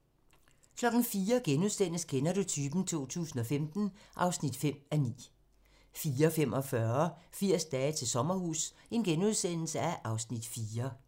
04:00: Kender du typen? 2015 (5:9)* 04:45: 80 dage til sommerhus (Afs. 4)*